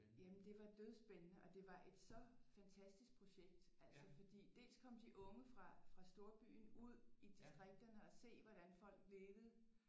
Jamen det var dødspændende og det var et så fantastisk projekt altså fordi dels kom de unge fra storbyen ud i distrikterne og se hvordan folk levede